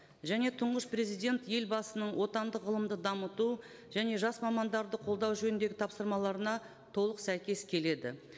және тұңғыш президент елбасының отандық ғылымды дамыту және жас мамандарды қолдау жөніндегі тапсырмаларына толық сәйкес келеді